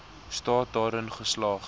staat daarin geslaag